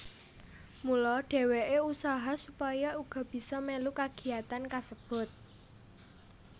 Mula dheweke usaha supaya uga bisa melu kagiyatan kasebut